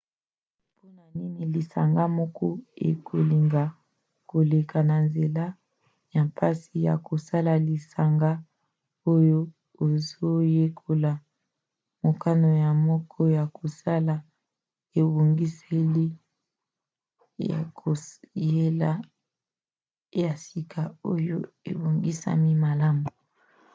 mpona nini lisanga moko ekolinga koleka na nzela ya mpasi ya kosala lisanga oyo ezoyekola? mokano moko ya kosala ebongiseli ya koyela ya sika oyo ebongisami malamu